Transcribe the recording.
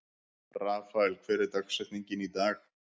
Rafael, hver er dagsetningin í dag?